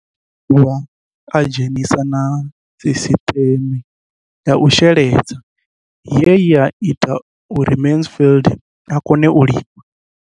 O ḓo dovha a dzhenisa na sisiṱeme ya u sheledza ye ya ita uri Mansfied a kone u lima.